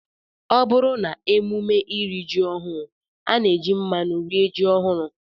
Ọ bụrụ n'emume iri ji ọhụụ, a na-eji mmanụ rie ji ọhụrụ